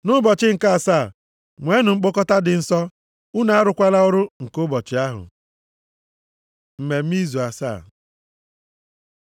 Nʼụbọchị nke asaa nweenụ mkpọkọta dị nsọ, unu arụkwala ọrụ nke ụbọchị ahụ. Mmemme Izu Asaa